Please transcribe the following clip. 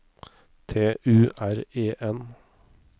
T U R E N